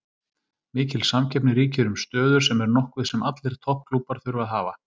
Mikil samkeppni ríkir um stöður sem er nokkuð sem allir topp klúbbar þurfa að hafa.